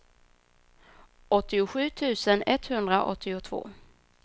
åttiosju tusen etthundraåttiotvå